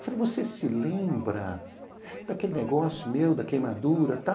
Eu falei, você se lembra daquele negócio meu, da queimadura e tal?